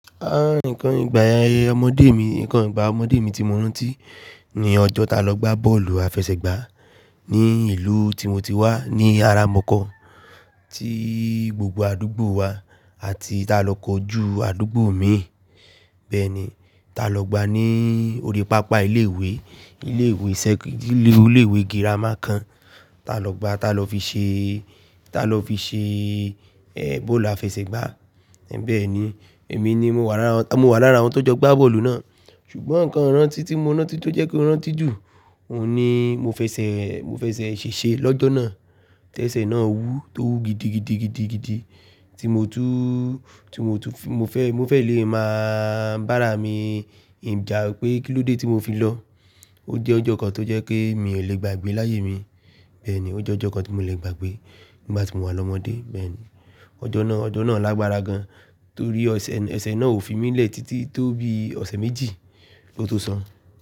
Nǹkan ìgbà ọmọdé mi, nǹkan ìgbà ọmọdé mi tí mo rántí ní ọjọ́ ta lọ gbá bọ́ọ̀lù àfẹsẹ̀gbá ní ìlú tí mo ti wá ní àrà mọ̀kọ̀ tí gbogbo àdúgbò wa àti ta lọ kọjú àdúgbò mi. Bẹ́ẹ̀ni, ta lọ gbá ní orí pápá ilé ìwé, ilé ìwé sẹ́kí-- ilé ìwé girama kan ta lọ gbá ta lọ fi ṣe, ta lọ fi ṣe ẹ́ bọ́ọ̀lù àfẹsẹ̀gbá. Bẹ́ẹ̀ni, èmi ni mo wà lára, mo wà lára àwọn tó jọ gbá bọ́ọ̀lù náà. Ṣùgbọ́n nǹkan rántí tí mo rántí tó jẹ́ kí ó rántí jù, òun ni mo fẹsẹ̀, mo fẹsẹ̀ ṣèṣe lọ́jọ́ náà, tẹ́sẹ̀ náà wú tó wú gidigidigidigidi tí mo tún, tí mo tún fẹ́, mo fẹ́ lè máa bá ara mi ja pé kílódé tí mo fi lọ. Ó jẹ́ ọjọ́ kan tó jẹ́ pe mi ò lè gbàgbé láyé mi. Bẹ́ẹ̀ ni, ó jẹ́ ọjọ́ kan tí mo lè gbàgbé nígbà tí mo wà lọ́mọdé. Bẹ́ẹ̀ ni, ọjọ́ náà, ọjọ́ náà lágbára gan, torí ọṣẹ, ẹsẹ̀ náà ò fi mí lè títí tó bi ọ̀sẹ̀ méjì ló tó sọn.